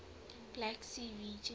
black sea region